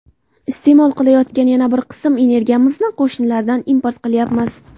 Iste’mol qilayotgan yana bir qism energiyamizni qo‘shnilardan import qilyapmiz.